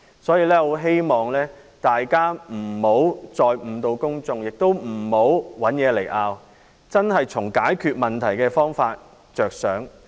我很希望大家不要再誤導公眾，也不要找東西來爭拗，應真正從解決問題的方法着想。